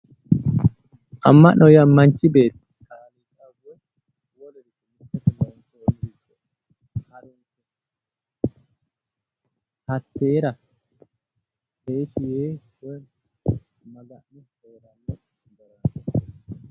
Ama'no:-Ama'no yaa manchi beeti